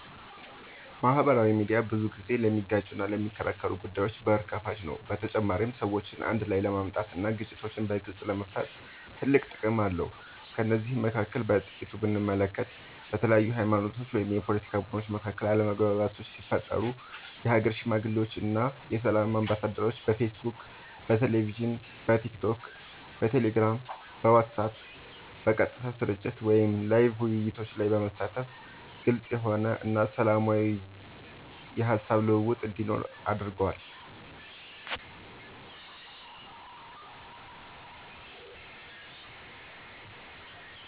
ማህበራዊ ሚድያ ብዙ ጊዜ ለሚጋጩና ለሚከራከሩ ጉዳዮች በር ከፋች ነው በተጨማሪም ሰዎችን አንድ ላይ ለማምጣት እና ግጭቶችን በግልፅ ለመፍታት ትልቅ ጥቅም አለው ከነዚህም መካከል በጥቂቱ ብንመለከት በተለያዩ ሀይማኖቶች ወይም የፓለቲካ ቡድኖች መካከል አለመግባባቶች ሲፈጠሩ የሀገር ሽማግሌዎች እና የሰላም አምባሳደሮች በፌስቡክ በቴሌቪዥን በቲክቶክ በቴሌግራም በዋትስአብ በቀጥታ ስርጭት ወይም ላይቭ ውይይቶች ላይ በመሳተፍ ግልፅ የሆነ እና ሰላማዊ የሀሳብ ልውውጥ እንዲኖር አድርጓል።